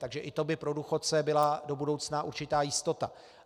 Takže i to by pro důchodce byla do budoucna určitá jistota.